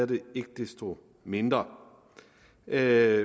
det ikke desto mindre er